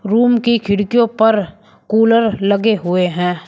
Room की खिड़कियों पर कुलर लगे हुए हैं।